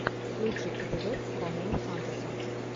лучший эпизод ромео сантоса